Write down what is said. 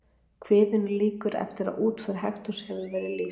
Kviðunni lýkur eftir að útför Hektors hefur verið lýst.